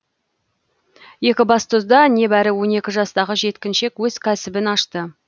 екібастұзда небәрі он екі жастағы жеткіншек өз кәсібін ашты